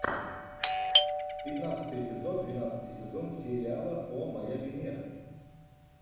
пятнадцатый эпизод двенадцатый сезон сериала о моя венера